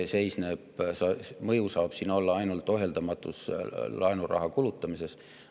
See saab seisneda siin ainult ohjeldamatus laenuraha kulutamises.